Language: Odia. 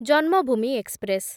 ଜନ୍ମଭୂମି ଏକ୍ସପ୍ରେସ୍‌